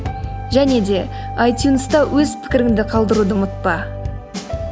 және де айтюнста өз пікіріңді қалдыруды ұмытпа